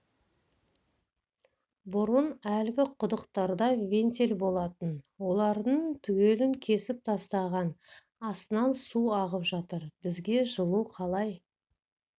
бұрын әлгі құдықтарда винтель болатын олардың түгелін кесіп тастаған астынан су ағып жатыр бізге жылу қалай